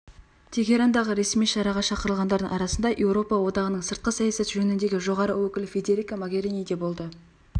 тегерандағы ресми шараға шақырылғандардың арасында еуропа одағының сыртқы саясат жөніндегі жоғары өкілі федерика могерини де болды